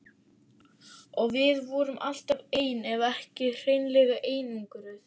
Og við vorum alltaf ein ef ekki hreinlega einangruð.